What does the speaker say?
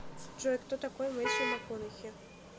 джой кто такой мэттью макконахи